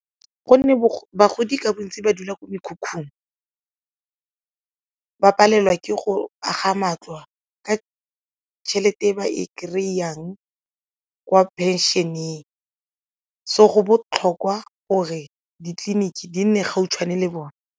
Gonne bagodi ka bontsi ba dula ko mekhukhung, ba palelwa ke go aga matlo ka tšhelete ba e kry-ang kwa pension-eng so go botlhokwa gore ditleliniki di nne gautshwane le bone.